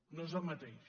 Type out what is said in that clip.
no és el mateix